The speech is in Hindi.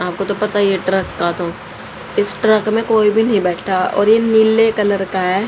आपको तो पता ही है ट्रक का तो इस ट्रक में कोई भी नहीं बैठा और ये नीले कलर का है।